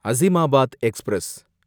Azimabad express